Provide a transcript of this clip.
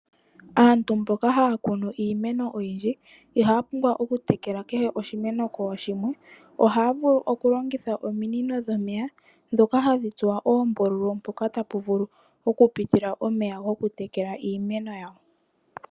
Aantu mboka haa kunu iimeno oyindji ihaa pumbwa okutekela kehe oshimeno kooshimwe. Ohaa vulu okulongitha ominino dhomeya ndhoka hadhi tsuwa oombululu mpoka tapu vuku okupitila omeya gokutekela iimeno yawo.